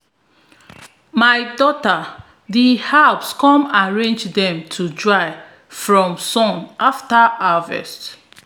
my daughter dey herbs come arrange dem to dry fro sun after harvest